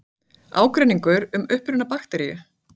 Ágreiningur um uppruna bakteríu